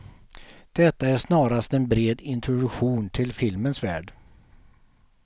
Detta är snarast en bred introduktion till filmens värld.